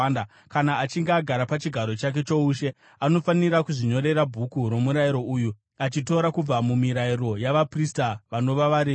Kana achinge agara pachigaro chake choushe, anofanira kuzvinyorera bhuku romurayiro uyu, achitora kubva mumirayiro yavaprista vanova vaRevhi.